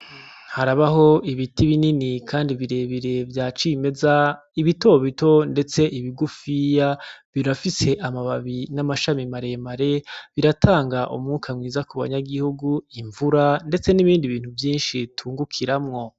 Harabaho ibiti binini kandi birebire vyacimeza bito bito ndetse bigufiya birafise amababi n'amashami mare mare birtanga umwuka mwiza kuba nyagihugu, imvura ndetse n'ibindi bintu vyinshi utungukiramwo.